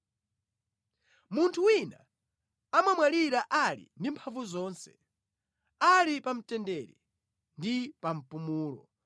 Munthu wina amamwalira ali ndi mphamvu zonse, ali pa mtendere ndi pa mpumulo,